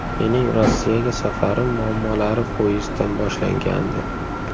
Mening Rossiyaga safarim muammolari poyezddan boshlangandi.